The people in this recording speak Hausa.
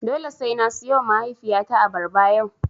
Dole sai na siyowa mahaifiyata abarba yau.